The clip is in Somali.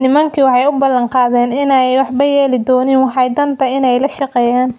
nimankii waxa ay u balan qaadeen in aanay waxba yeeli doonin, waxa dhaanta inay la shaqeeyaan.